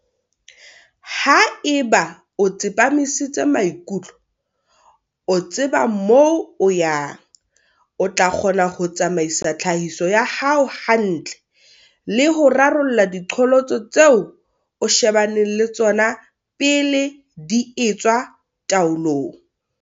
Ha e ba o tsepamisitse maikutlo, o tseba moo o yang, o tla kgona ho tsamaisa tlhahiso ya hao hantle le ho rarolla diqholotso tseo o shebaneng le tsona pele di etswa taolong.